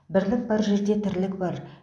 бірлік бар жерде тірлік бар